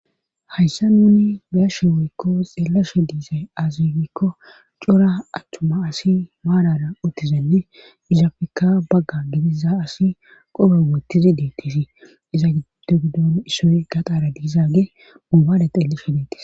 hayssa nuni biyashe woykko xeellashe diizay azigikko cora achchuma asi maarara uttizenne izapfika bagga gidiza asi qoro wottizi deettisii iza gido gidon issoy gaxaara diizaage mubada xelli fideeti